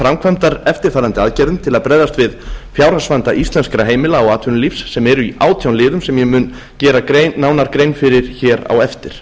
framkvæmdar eftirfarandi aðgerðum til að bregðast við fjárhagsvanda íslenskra heimila og atvinnulífs sem eru í átján liðum sem ég mun gera nánar grein fyrir hér á eftir